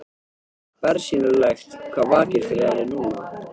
Bersýnilegt hvað vakir fyrir henni núna.